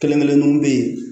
Kelen kelenninw bɛ yen